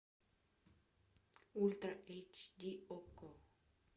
ультра эйч ди окко